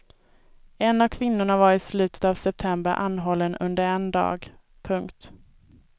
En av kvinnorna var i slutet av september anhållen under en dag. punkt